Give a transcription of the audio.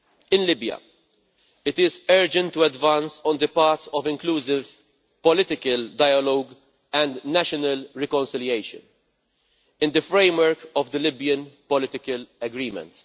In Libya, it is urgent to advance on the part of inclusive political dialogue and national reconciliation in the framework of the Libyan political agreement.